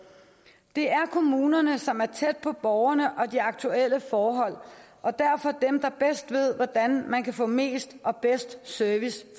det er kommunerne som er tæt på borgerne og de aktuelle forhold og derfor er dem der ved hvordan man kan få mest og bedst service